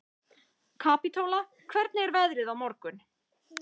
Kapítóla, hvernig er veðrið á morgun?